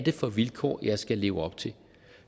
for vilkår han skulle leve op til